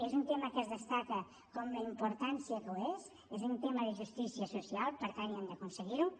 és un tema que es destaca per la importància que té és un tema de justícia social per tant hem d’aconseguir ho